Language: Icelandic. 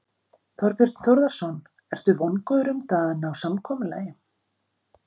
Þorbjörn Þórðarson: Ertu vongóður um það að að ná samkomulagi?